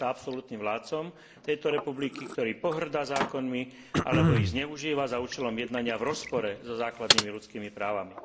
Stal sa absolútnym vládcom tejto republiky, ktorý pohŕda zákonmi alebo ich zneužíva za účelom jednania v rozpore so základnými ľudskými právami.